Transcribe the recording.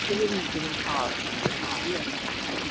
রাত্রে রুটি ও খাওয়া কি বলো